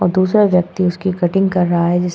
और दूसरा व्यक्ति उसकी कटिंग कर रहा है जिस --